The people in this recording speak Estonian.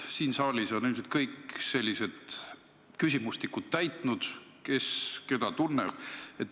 Siin saalis on ilmselt kõik täitnud sellised küsimustikud, et kes keda tunneb.